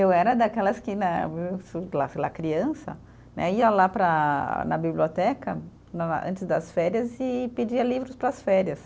Eu era daquelas que né, sei lá criança né, ia lá para, na biblioteca né, antes das férias e pedia livros para as férias.